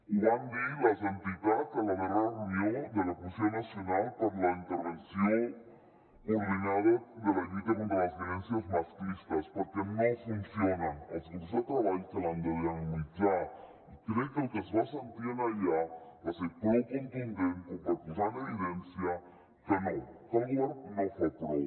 ho van dir les entitats a la darrera reunió de la comissió nacional per a la intervenció coordinada de la lluita contra les violències masclistes perquè no funcionen els grups de treball que l’han de dinamitzar i crec que el que es va sentir allà va ser prou contundent com per posar en evidència que no que el govern no fa prou